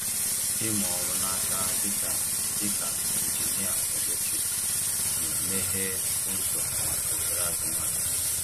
Ịmụ ọrụ n’aka dịka dịka injinia eletrik na-emeghe ụzọ maka ohere azụmahịa.